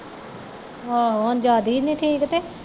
ਆਹੋ ਹੁਣ ਜਿਯਾਦੀ ਨਹੀਂ ਠੀਕ ਤੇ